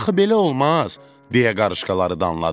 Axı belə olmaz, deyə qarışqaları danladı.